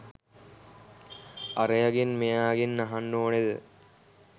අරයගෙන් මෙයාගෙන් අහන්න ඕනෙද?